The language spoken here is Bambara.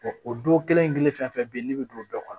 o don kelen kelen fɛn fɛn be yen ne bi don bɛɛ kɔnɔ